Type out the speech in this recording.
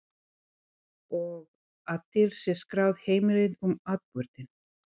Og að til sé skráð heimild um atburðinn.